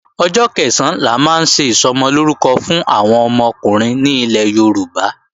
Ọjọ́ Kẹ̀sán la máa ń ṣe Ìsọmọlórúkọ fún àwọn ọmọkùnrin ní ilẹ̀ Yorùbá